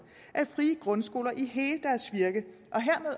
at frie grundskoler i hele deres virke